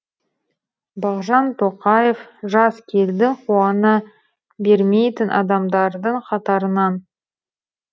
бағжан тоқаев жаз келді қуана бермейтін адамдардың қатарынан